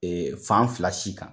Ee fan fila si kan.